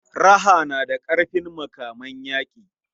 Raha tana da ƙarfin makaman yaƙi.